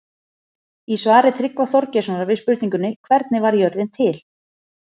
Í svari Tryggva Þorgeirssonar við spurningunni Hvernig varð jörðin til?